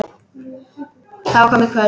Það var komið kvöld.